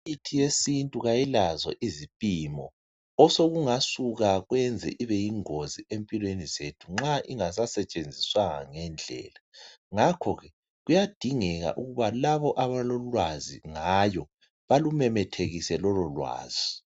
Imithi yesintu ayilazo izipimo osokungasuka kwenzelwa ibiyengozi empilweni zethu nxa ingasasetshenziswanga ngendlela ngakho ke kuyadingeka ukubalabo abalolwazi ngayo balumemethekise lolo lwazi